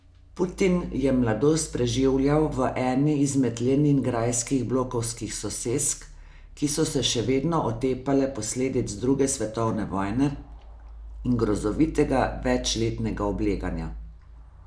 Putin je mladost preživljal v eni izmed leningrajskih blokovskih sosesk, ki so se še vedno otepale posledic druge svetovne vojne in grozovitega večletnega obleganja.